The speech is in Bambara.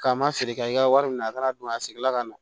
K'an ma feere kɛ i ka wari minɛ a kana don a segin la ka na